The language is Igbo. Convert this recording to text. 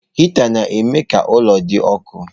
Hịta na-eme ka ụlọ dị ọkụ.